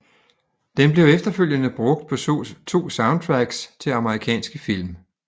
Den blev efterfølgende brugt på to soundtracks til amerikanske film